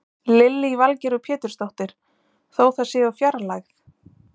Lillý Valgerður Pétursdóttir: Þó það sé úr fjarlægð?